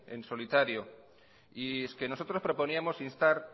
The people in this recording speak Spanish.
en solitario y es que nosotros proponíamos instar